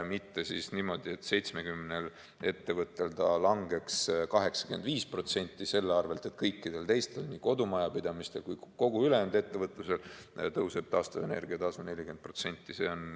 Mitte niimoodi, et 70 ettevõttel ta langeks 85% selle arvel, et kõikidel teistel, nii kodumajapidamistel kui ka kogu ülejäänud ettevõtlusel tõuseb taastuvenergia tasu 40%.